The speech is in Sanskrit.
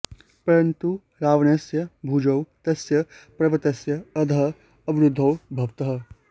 परन्तु रावणस्य भुजौ तस्य पर्वतस्य अधः अवरुद्धौ भवतः